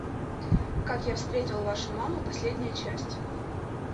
как я встретил вашу маму последняя часть